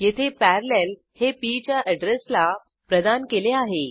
येथे पॅरालेल हे पी च्या अॅड्रेसला प्रदान केले आहे